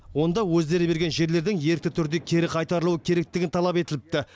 онда өздері берген жерлердің ерікті түрде кері қайтарылуы керектігі талап етіліпті